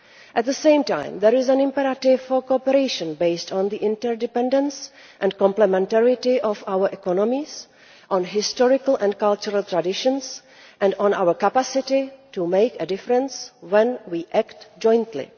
At the same time, there is an imperative for cooperation based on the inter dependence and complementarity of our economies, on historical and cultural traditions and on our capacity to make a difference when we act jointly.